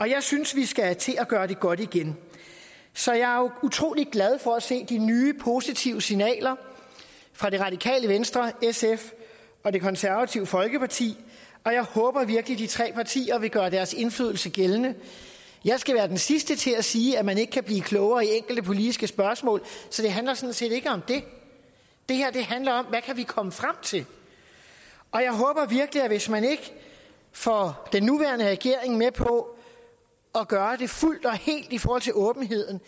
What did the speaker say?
jeg synes vi skal til at gøre det godt igen så jeg er utrolig glad for at se de nye positive signaler fra det radikale venstre sf og det konservative folkeparti og jeg håber virkelig de tre partier vil gøre deres indflydelse gældende jeg skal være den sidste til at sige at man ikke kan blive klogere i enkelte politiske spørgsmål så det handler sådan set ikke om det det her handler om hvad vi kan komme frem til og jeg håber virkelig at hvis man ikke får den nuværende regering med på at gøre det fuldt og helt i forhold til åbenheden